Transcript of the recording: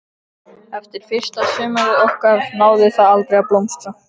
Eftir fyrsta sumarið okkar náði það aldrei að blómstra.